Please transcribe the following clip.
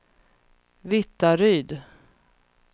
Vittaryd